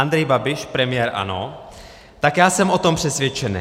Andrej Babiš, premiér, ANO: Tak já jsem o tom přesvědčenej.